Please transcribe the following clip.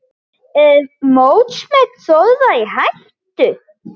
Er mótsmet Þórðar í hættu?